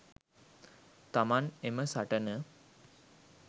තමන් එම සටන